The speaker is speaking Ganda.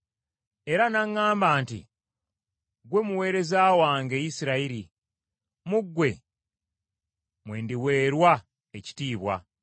Era n’aŋŋamba nti, “Ggwe muweereza wange, Isirayiri, mu ggwe mwe ndiweerwa ekitiibwa.”